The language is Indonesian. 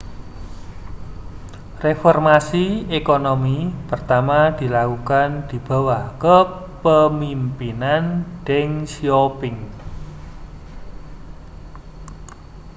reformasi ekonomi pertama dilakukan di bawah kepemimpinan deng xiaoping